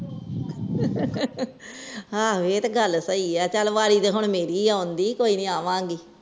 ਹਾਂ ਏ ਤੇ ਗੱਲ ਸਹੀ ਆ ਚੱਲ ਬਾਰੀ ਤੇ ਹੁਣ ਮੇਰੀ ਆ ਆਉਣ ਦੀ ਕੋਈ ਆਵਾਂਗੀ।